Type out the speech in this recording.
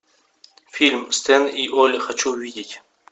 фильм стэн и олли хочу увидеть